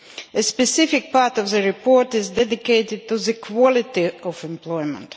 A specific part of the report is dedicated to the quality of employment.